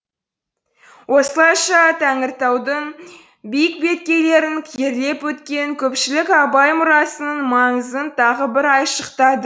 осылайша тәңіртаудың биік беткейлерін керлеп өткен көпшілік абай мұрасының маңызын тағы бір айшықтады